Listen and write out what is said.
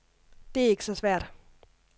Det er ikke så svært.